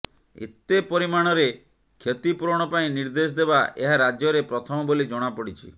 ଏତେ ପରିମାଣରେ କ୍ଷତିପୂରଣ ପାଇଁ ନିର୍ଦ୍ଦେଶ ଦେବା ଏହା ରାଜ୍ୟରେ ପ୍ରଥମ ବୋଲି ଜଣାପଡିଛି